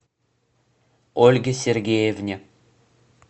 ольге сергеевне